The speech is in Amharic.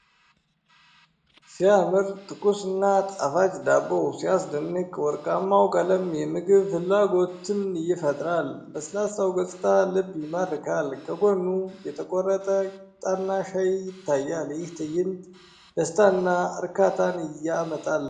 ሲያምር! ትኩስና ጣፋጭ ዳቦ! ሲያስደንቅ! ወርቃማው ቀለም የምግብ ፍላጎትን ይፈጥራል። ለስላሳው ገጽታ ልብ ይማርካል። ከጎኑ የተቆረጠ ቂጣና ሻይ ይታያል። ይህ ትዕይንት ደስታንና እርካታን ያመጣል፡፡